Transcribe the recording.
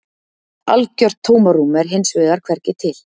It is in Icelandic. algjört tómarúm er hins vegar hvergi til